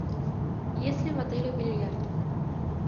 есть ли в отеле бильярд